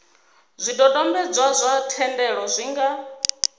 zwidodombedzwa zwa thendelo zwi nga